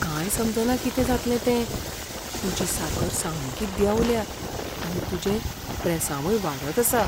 कांय समजना कितें जातलें तें. तुजी साकर सामकी देंवल्या आनी तुजें प्रेसांवय वाडत आसा.